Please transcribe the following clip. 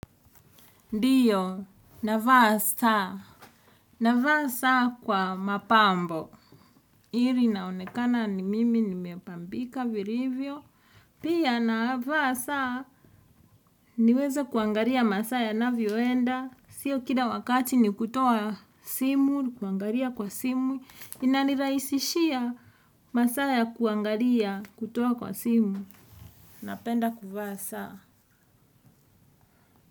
Ndiyo, navaa saa, navaa saa kwa mapambo. Ili naonekana ni mimi nimepambika vilivyo. Pia navaa saa niweze kuangalia masaa yanavyoenda. Sio kila wakati ni kutoa simu, kuangalia kwa simu. Inanirahisishia masaa ya kuangalia, kutoa kwa simu. Napenda kuvaa saa.